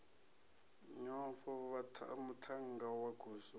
nyofho muthannga wa goswi u